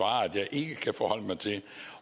ja